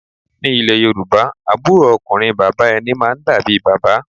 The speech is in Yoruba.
Ni ilẹ̀ Yorùbá, àbúrò ọkùnrin bàbá ẹni máa ń dàbí bàbá